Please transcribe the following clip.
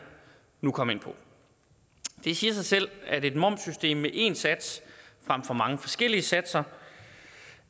nu komme ind på det siger sig selv at et momssystem med én sats frem for mange forskellige satser